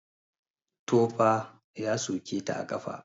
Tofa ya soke ta a ƙafa.